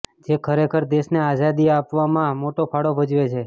જે ખરેખર દેશને આઝાદી આપવમાં મોટો ફાળો ભજવે છે